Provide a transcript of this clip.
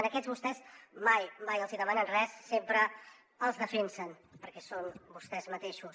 en aquests vostès mai mai els hi demanen res sempre els defensen perquè són vostès mateixos